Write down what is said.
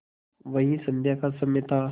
वही संध्या का समय था